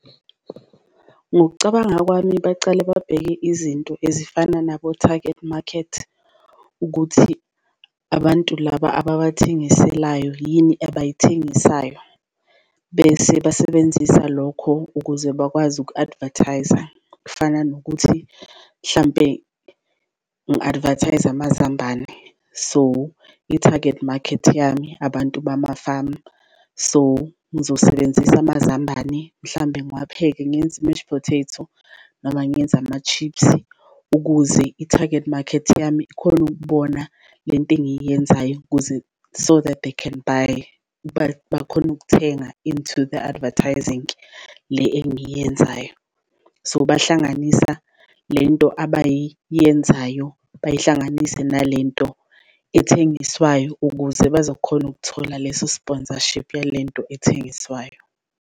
Ngokucabanga kwami bacale babheke izinto ezifana nabo-target market ukuthi abantu laba ababathengiselayo yini abayithengisayo bese basebenzisa lokho ukuze bakwazi uku-advertise-a. Kufana nokuthi mhlampe ngi-advertise-a amazambane so i-target market yami, abantu bamafamu. So, ngizosebenzisa amazambane mhlambe ngiwapheke ngenze i-mash potato noma ngenze ama-chips. Ukuze i-target market yami ikhone ukubona le nto engiyenzayo, ukuze so that they can buy bakhone ukuthenga into the advertising le engiyenzayo, so bahlanganisa lento abayenzayo bayihlanganise nalento athengiswayo ukuze bazokhona ukuthola leso sponsorship yalento athengiswayo.